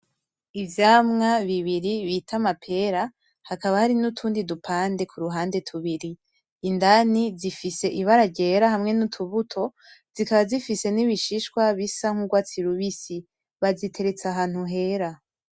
Ivyamwa bibiri bita amapera hakaba hari n’utundi dupande kuruhande tubiri indani zifise ibara ryera hamwe n’utubuto zikaba zifise n’ibishishwa bisa nk’ugwatsi rubisi baziteretse ahantu hera.